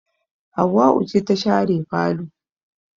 Hauwau ce ta share falo